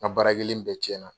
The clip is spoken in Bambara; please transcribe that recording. N ka baara kɛlen bɛɛ cɛn na.